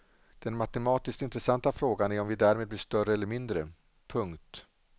Den matematiskt intressanta frågan är om vi därmed blir större eller mindre. punkt